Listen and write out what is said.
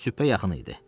Sübhə yaxın idi.